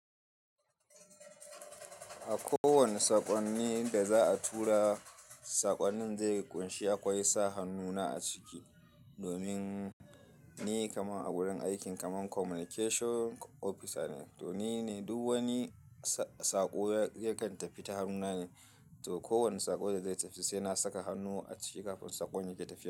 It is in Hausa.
A ko wane saƙonni da za a tura, saƙonnin zai ƙunshi akwai sa hannu na a ciki. Domin ni kamar a wurin aikin kamar Communication Officer ne, to ni ne duk wani saƙo ya kan tafi ta hannuna ne. To kowane saƙo da zai tafi sai na saka hannu a ciki kafin saƙon ya ke tafiya.